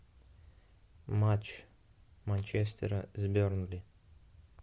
матч манчестера с бернли